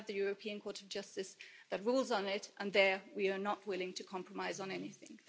We have the European Court of Justice that rules on it and there we are not willing to compromise on anything.